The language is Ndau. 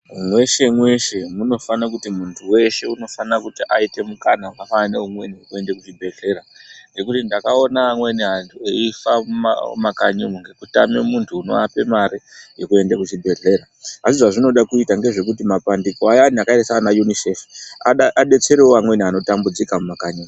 Mweshe mweshe munofana kuti muntu weshe unofanira kuti aite mukana wakafanana neumweni wekuende kuzvibhedhlera, nekuti ndakaona amweni antu eifa mumakanyimo ngekutame muntu unovape mari yekuende kuchibhedhlera. Asi zvazvinoda kuita ngezvekuti mapandiko ayani akaita saana Yunisefi adetserevo amweni anotambudzika mumakanyi umo.